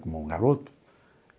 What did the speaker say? Como um garoto.